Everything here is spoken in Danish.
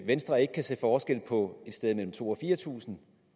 venstre ikke kan se forskel på et sted mellem to tusind og fire tusind